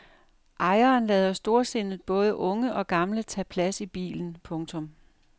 Ejeren lader storsindet både unge og gamle tage plads i bilen. punktum